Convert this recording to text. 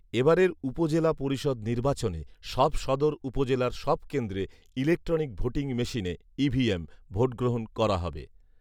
এবারের উপজেলা পরিষদ নির্বাচনে সব সদর উপজেলার সব কেন্দ্রে ইলেক্ট্রনিক ভোটিং মেশিনে, ইভিএম, ভোটগ্রহণ করা হবে